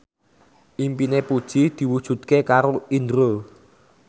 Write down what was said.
impine Puji diwujudke karo Indro